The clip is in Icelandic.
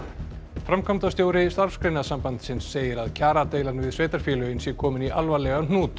framkvæmdastjóri Starfsgreinasambandsins segir að kjaradeilan við sveitarfélögin sé komin í alvarlegan hnút